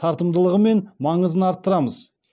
тартымдылығы мен маңызын арттырамыз